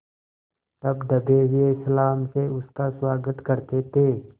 तब दबे हुए सलाम से उसका स्वागत करते थे